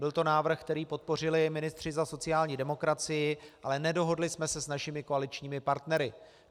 Byl to návrh, který podpořili ministři za sociální demokracii, ale nedohodli jsme se s našimi koaličními partnery.